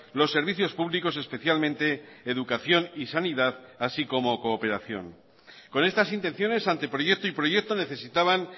los servicios públicos especialmente educación y sanidad así como cooperación con estas intenciones anteproyecto y proyecto necesitaban